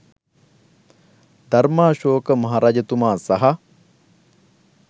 ධර්මාශෝක මහරජතුමා සහ